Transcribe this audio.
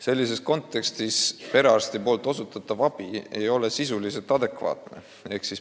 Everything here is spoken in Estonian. Sellises kontekstis ei ole perearsti osutatav abi sisuliselt adekvaatne.